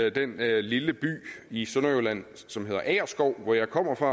i den lille by i sønderjylland som hedder agerskov hvor jeg kommer fra